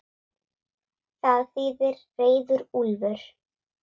Það þýðir reiður úlfur.